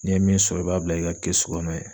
N'i ye min sɔrɔ i b'a bila i ka kɛsu kɔnɔ yen.